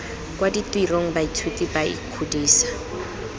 kwa ditirong baithuti ba ikgodisa